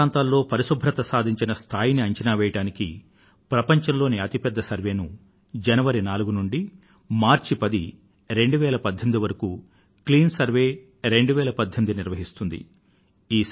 పట్టణ ప్రాంతాలలో పరిశుభ్రత స్థాయిని సాధించిన స్థాయిని అంచనా వేయడానికి ప్రపంచం లోని అతి పెద్ద సర్వేక్షణను జనవరి 4 నుండి మార్చి 10 2018 వరకు క్లీన్ సర్వే 2018 నిర్వహిస్తుంది